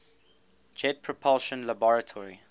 jet propulsion laboratory